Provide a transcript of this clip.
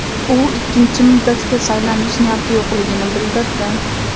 U ikkinchi muddatga saylanish niyati yo‘qligini bildirdi.